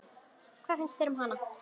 Hvað finnst þér um hana?